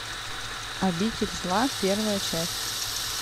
обитель зла первая часть